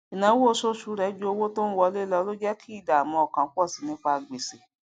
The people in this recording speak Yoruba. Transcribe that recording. ìnáwó oṣooṣù rẹ ju òwo tó ń wọlé lọ ló jé kí ìdààmú ọkàn pọsí nípa gbèsè